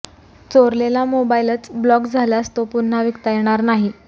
चोरलेला मोबाईलच ब्लॉक झाल्यास तो पुन्हा विकता येणार नाही